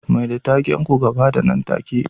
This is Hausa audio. Mai da taken ku ga fada nan take